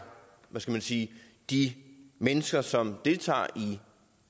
hvad skal man sige de mennesker som deltager